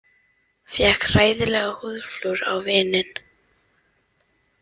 Fékk hræðilegt húðflúr á vininn